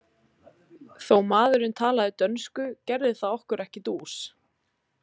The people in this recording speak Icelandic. Þó maðurinn talaði dönsku gerði það okkur ekki dús.